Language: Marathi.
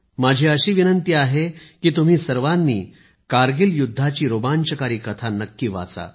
माझी अशी विनंती आहे की तुम्ही सर्वांनी कारगिल युद्धाची रोमांचकारी कथा नक्की वाचा